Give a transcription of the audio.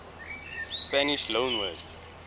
spanish loanwords